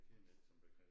Kender ikke sådan begreb